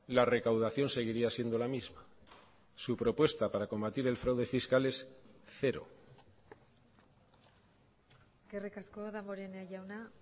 la recaudación seguiría siendo la misma su propuesta para combatir el fraude fiscal es cero eskerrik asko damborenea jauna